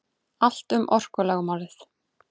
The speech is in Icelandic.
Allt um orkulögmálið.